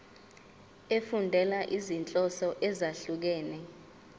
efundela izinhloso ezahlukehlukene